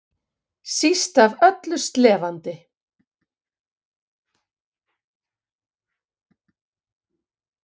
Síst af öllu slefandi.